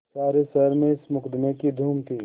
सारे शहर में इस मुकदमें की धूम थी